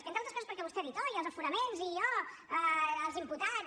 entre altres coses perquè vostè ha dit oh els aforaments i oh els imputats